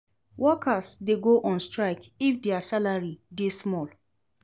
Workers de go on strike if their salary de small